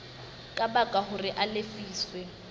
ka baka hore a lefiswe